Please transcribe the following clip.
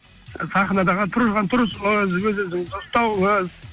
сахнадағы тұрған тұрысыңыз өз өзіңізді ұстауыңыз